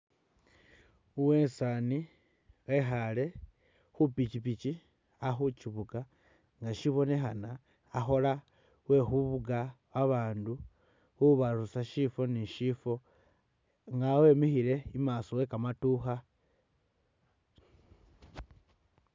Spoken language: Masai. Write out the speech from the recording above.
Uwesaani wekhaale khu’pikyipikyi akhukyifuga nga shibonekhana akhola kwe khufuga abaandu khubarusa shifo ni shifo nga wemikhile imaaso we’kamadukha .